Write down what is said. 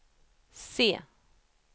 C